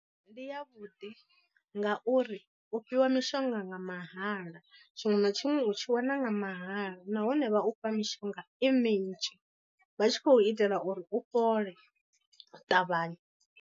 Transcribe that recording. Ndi ya vhuḓi ngauri u fhiwa mishonga nga mahala tshiṅwe na tshiṅwe u tshi wana nga mahala nahone vha u fha mishonga i minzhi vha tshi khou itela uri u fhole u ṱavhanya.